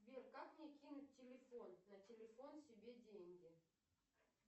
сбер как мне кинуть телефон на телефон себе деньги